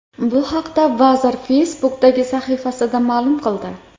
Bu haqda vazir Facebook’dagi sahifasida ma’lum qildi .